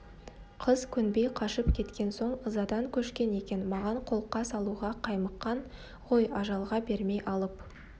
қыз көнбей қашып кеткен соң ызадан көшкен екен маған қолқа салуға қаймыққан ғой ажалға бермей алып